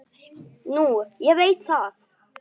Nú veit ég það.